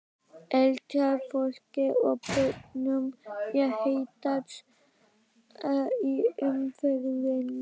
Eldra fólki og börnum er hættast í umferðinni.